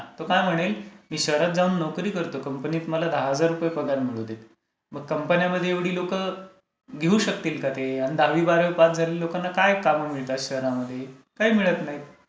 तो काय म्हणेल, मी शहरात जाऊन नोकरी करतो कंपनीत मला दहा हजार रुपये पगार मिळू दे. मग कंपन्यांमध्ये एवढी लोकं घेऊ शकतील का ते? दहावी बारावी पास हहलेल्या लोकांना काय काम मिळते शहरांमध्ये? काही मिळत नाही.